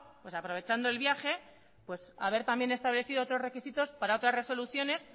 pues aprovechando el viaje pues haber también establecido otros requisitos para otras resoluciones